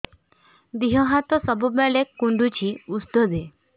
ଦିହ ହାତ ସବୁବେଳେ କୁଣ୍ଡୁଚି ଉଷ୍ଧ ଦେ